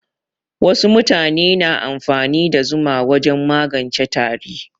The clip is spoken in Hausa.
Wasu mutane na amfani da zuma wajen magance tari.